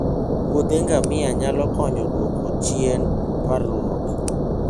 wuothe ngamia nyalo konyo e dwoko chien parruok.